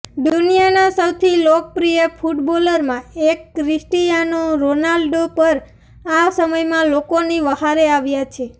દુનિયાના સૌથી લોકપ્રિય ફૂટબોલરમાં એક ક્રિસ્ટીયાનો રોનાલ્ડો પણ આ સમયમાં લોકોની વ્હારે આવ્યા છે